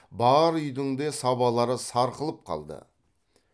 бар үйдің де сабалары сарқылып қалды